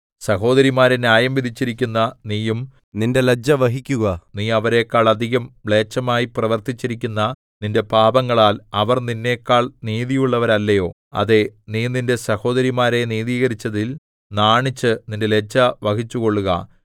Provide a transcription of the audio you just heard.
സഹോദരിമാരെ ന്യായം വിധിച്ചിരിക്കുന്ന നീയും നിന്റെ ലജ്ജ വഹിക്കുക നീ അവരെക്കാൾ അധികം മ്ലേച്ഛമായി പ്രവർത്തിച്ചിരിക്കുന്ന നിന്റെ പാപങ്ങളാൽ അവർ നിന്നെക്കാൾ നീതിയുള്ളവരല്ലയോ അതേ നീ നിന്റെ സഹോദരിമാരെ നീതീകരിച്ചതിൽ നാണിച്ച് നിന്റെ ലജ്ജ വഹിച്ചുകൊള്ളുക